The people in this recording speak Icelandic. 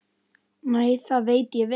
Nei, það veit ég vel.